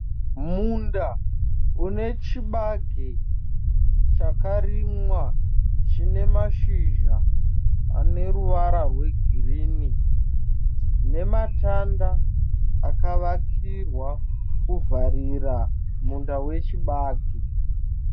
Munda une chibage chakarimwa chine mashizha ane ruvara rwegirini. Nematanda akavakirwa kuvharira munda wechibage.